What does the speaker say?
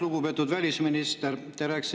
Lugupeetud välisminister!